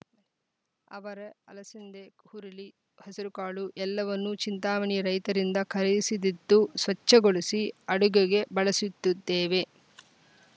ಅವರೆ ಅಲಸಂದೆ ಹುರುಳಿ ಹೆಸರುಕಾಳು ಎಲ್ಲವನ್ನೂ ಚಿಂತಾಮಣಿಯ ರೈತರಿಂದ ಖರೀದಿಸಿದ್ದು ಸ್ವಚ್ಛಗೊಳಿಸಿ ಅಡುಗೆಗೆ ಬಳಸುತ್ತಿದ್ದೇವೆ